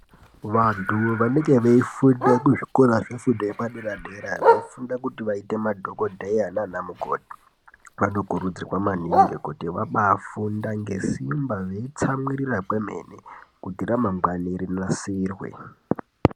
Vantu vanenge veifunda muzvikora zvefundo yepadera-dera, veifunda kuti vaite madhogodheya nanamukoti, vanokurudzirwa maningi kuti vabaafunda ngesimba veitsamwirira kwemene kuti ramangwana rinasirwe.